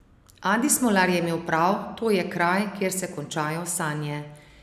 Adi Smolar je imel prav, to je kraj, kjer se končajo sanje.